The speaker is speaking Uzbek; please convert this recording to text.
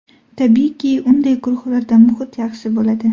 Tabiiyki, unday guruhlarda muhit yaxshi bo‘ladi.